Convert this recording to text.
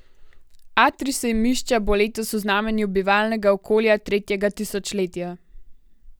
Atrij sejmišča bo letos v znamenju bivalnega okolja tretjega tisočletja.